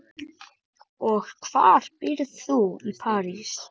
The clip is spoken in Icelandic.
Og hvar býrð þú í París?